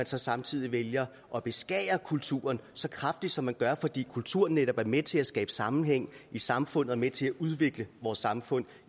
så samtidig vælger at beskære kulturen så kraftigt som man gør fordi kultur netop er med til at skabe sammenhæng i samfundet og er med til at udvikle vores samfund